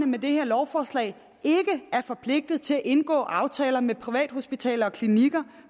med det her lovforslag ikke forpligtet til at indgå aftaler med privathospitaler og klinikker